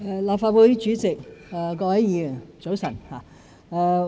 立法會主席、各位議員，早晨。